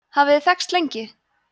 hafið þið þekkst lengi